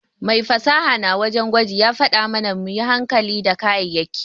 Mai fasaha na wajen gwaji ya faɗa mana muyi hankali da kayayaki.